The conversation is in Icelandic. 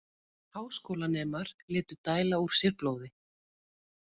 Háskólanemar létu dæla úr sér blóði